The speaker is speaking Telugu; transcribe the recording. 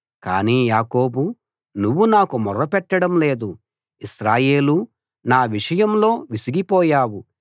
కానీ యాకోబూ నువ్వు నాకు మొర్రపెట్టడం లేదు ఇశ్రాయేలూ నా విషయంలో విసిగిపోయావు